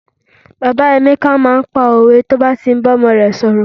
bàbá emeka ma n pa owe yi o ba ti n bá ọmọ rẹ sọrọ